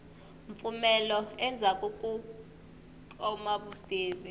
mpfumelo endzhaku ko kuma vutivi